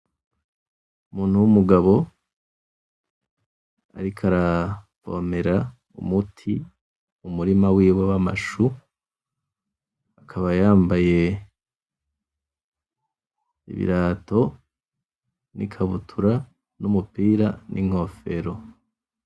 Umuntu w'umugabo ariko aravomera umuti mu murima wiwe w'amashu akaba yambaye ibirato n'ikabutura n'umupira n'inkofero .